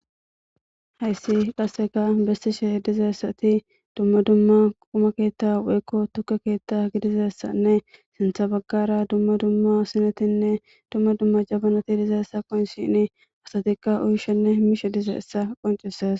Hayssi qassega bessishe dizessati dumma dumma quma keetta weykko tukke keetta gidizessanne sintha baggara dumma dumma sinetinne dumma dumma jabanati dizeessa qonicishini asatikka uyshenne miishe dize essa qoncises.